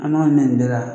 An b'a minɛ nin bɛɛ la